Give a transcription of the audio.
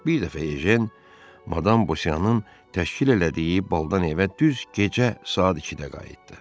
Bir dəfə Ejen madam Busiyanın təşkil elədiyi baldan evə düz gecə saat 2-də qayıtdı.